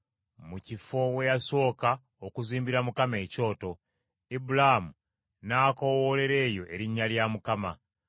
mu kifo we yasooka okuzimbira Mukama ekyoto, Ibulaamu n’akoowoolera eyo erinnya lya Mukama .